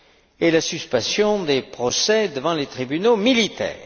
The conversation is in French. et la suspension des procès devant les tribunaux militaires.